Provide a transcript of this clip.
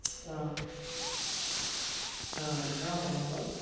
ஆஹ் ஆஹ் மேல சொன்னங்களோ